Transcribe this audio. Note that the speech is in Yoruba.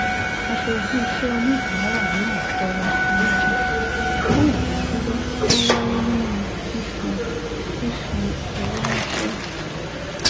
aṣojú iṣẹ oníbàárà náà tọrọ àforíjì fún ìdádúró tí ó wáyé nínú fífi fífi owó ránṣẹ